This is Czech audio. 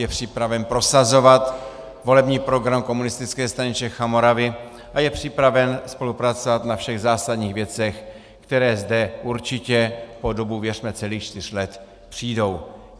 Je připraven prosazovat volební program Komunistické strany Čech a Moravy a je připraven spolupracovat na všech zásadních věcech, které zde určitě po dobu, věřme, celých čtyř let přijdou.